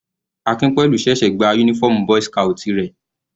Akinpelu ṣẹ̀ṣẹ̀ gba uniform boy's scout rẹ̀.